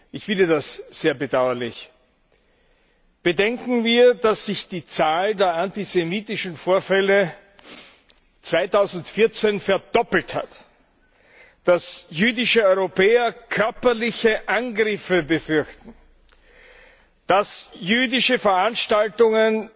Ich finde das sehr bedauerlich! Bedenken wir, dass sich die Zahl der antisemitischen Vorfälle 2014 verdoppelt hat, dass jüdische Europäer körperliche Angriffe befürchten, dass jüdische Veranstaltungen